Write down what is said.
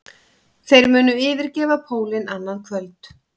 Þeir munu yfirgefa pólinn annað kvöld